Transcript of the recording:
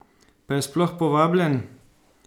Pa je sploh povabljen?